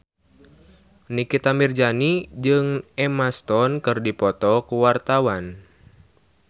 Nikita Mirzani jeung Emma Stone keur dipoto ku wartawan